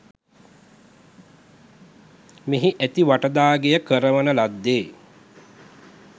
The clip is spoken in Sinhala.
මෙහි ඇති වටදාගෙය කරවන ලද්දේ